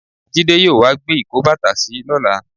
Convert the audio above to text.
Jídé yóò wá gbé ìkóbàtàsí lọ́la.